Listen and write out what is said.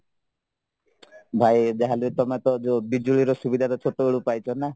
ଭାଇ ଯାହାହେଲେ ତମେତ ବିଜୁଳିର ସୁବିଧାଟା ଛୋଟବେଳୁ ପାଇଛନା